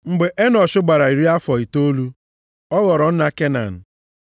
Mgbe Enọsh gbara iri afọ itoolu, ọ ghọrọ nna Kenan.